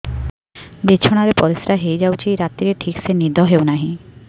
ବିଛଣା ରେ ପରିଶ୍ରା ହେଇ ଯାଉଛି ରାତିରେ ଠିକ ସେ ନିଦ ହେଉନାହିଁ